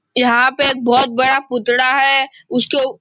यहाँ पे एक बहुत बड़ा पुतड़ा है। उस के --